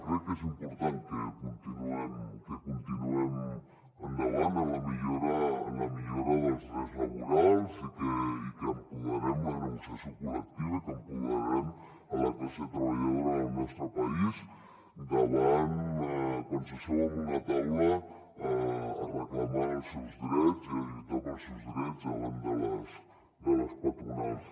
crec que és important que continuem endavant en la millora dels drets laborals i que empoderem la negociació col·lectiva i que empoderem la classe treballadora del nostre país quan s’asseu en una taula a reclamar els seus drets i a lluitar pels seus drets davant de les patronals